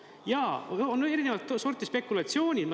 Jaa, on erinevat sorti spekulatsioonid.